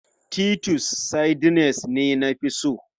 Titus sardines ne na fi so.